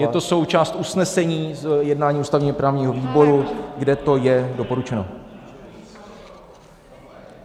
Je to součást usnesení z jednání ústavně-právního výboru, kde to je doporučeno.